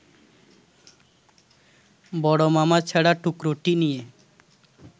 বড় মামা ছেঁড়া টুকরোটি নিয়ে